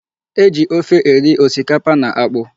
E ji ofe eri osikapa na akpụ.